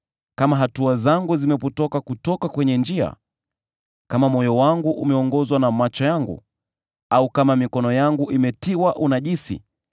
kama hatua zangu zimepotoka kutoka kwenye njia, kama moyo wangu umeongozwa na macho yangu, au kama mikono yangu imetiwa unajisi,